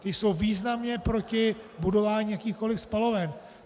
Ty jsou významně proti budování jakýchkoliv spaloven.